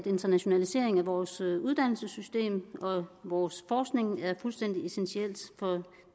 internationalisering af vores uddannelsessystem og af vores forskning er fuldstændig essentiel for